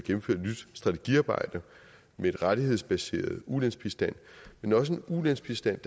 strategiarbejde med en rettighedsbaseret ulandsbistand men også en ulandsbistand